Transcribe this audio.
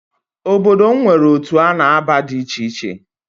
Obodo m nwere otu a na-aba di icheiche